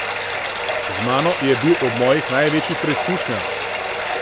Z mano je bil ob mojih največjih preizkušnjah.